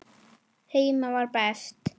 Heima var best.